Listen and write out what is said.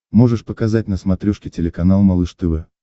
можешь показать на смотрешке телеканал малыш тв